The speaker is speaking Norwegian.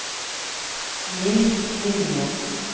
Niels Vinje